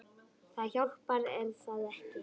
Það hjálpar er það ekki?